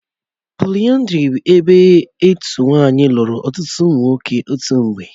Póliyandrí bụ ebe otu nwanyị lụrụ ọtụtụ ụmụ nwoke otu mgbe.